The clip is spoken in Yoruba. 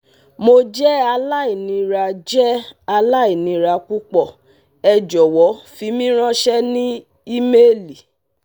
Mo jẹ alainira jẹ alainira pupọ, ẹ jọ̀wọ̀ fi mi ranṣẹ ni imeeli